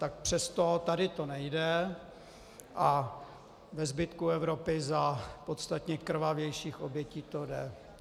Tak přesto tady to nejde a ve zbytku Evropy za podstatně krvavějších obětí to jde.